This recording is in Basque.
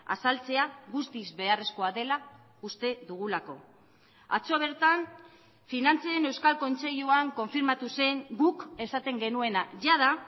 azaltzea guztiz beharrezkoa dela uste dugulako atzo bertan finantzen euskal kontseiluan konfirmatu zen guk esaten genuena jada